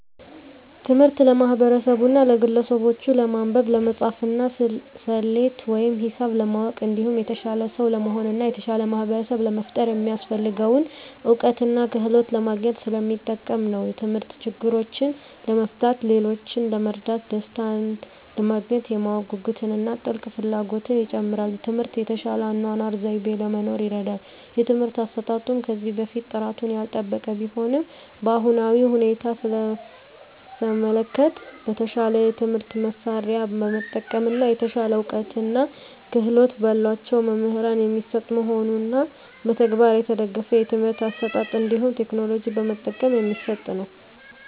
ትምህርት ለማህበርሰቡና ለግለሰቡች ለማንበብ፣ ለመፃፍና፣ ሰሌት ወይም ሂሳብ ለማወቅ እንዲሁም የተሻለ ሰው ለመሆን እና የተሻለ ማህበርሰብ ለመፍጠር የሚያሰፍልገውን እውቀትና ክህሎት ለማግኝት ሰለሚጠቅም ነው። ተምህርት ችግሮችን ለመፍታት፣ ሌሎችን ለመርዳት፣ ደሰታንለማግኘት፣ የማወቅ ጉጉትን እና ጥልቅ ፍላጎትን ይጨምራል። ትምህርት የተሻለ የአኗኗር ዘይቤ ለመኖር ይርዳል። የትምህርት አሰጣጡም ከዚህ በፊት ጥራቱን ያልጠበቀ ቢሆንም በአሁናዊ ሁኔታ ሰመለከት በተሻለ የትምህርት መሳርያ በመጠቀም እና የተሻለ እውቀትና ክህሎት በላቸው መምህራን የሚሰጥ መሆኑንና በተግባር የተደገፍ የትምህርት አሰጣጥ እንዲሁም ቴክኖሎጂ በመጠቀም የሚሰጥ ነው።